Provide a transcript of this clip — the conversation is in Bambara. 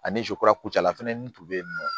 Ani z kura kucala fɛnɛ n tun be yen nɔ